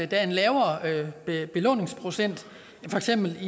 der er en lavere belåningsprocent i for eksempel